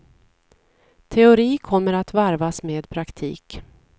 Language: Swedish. Teori kommer att varvas med praktik.